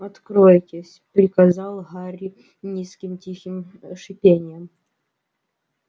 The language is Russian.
откройтесь приказал гарри низким тихим шипением